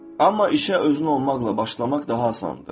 Amma işə özün olmaqla başlamaq daha asandır.